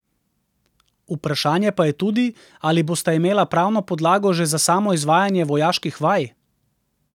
Vprašanje pa je tudi, ali bosta imela pravno podlago že za samo izvajanje vojaških vaj.